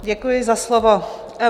Děkuji za slovo.